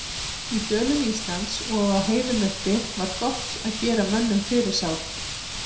Í dölum Íslands og á heiðum uppi var gott að gera mönnum fyrirsát.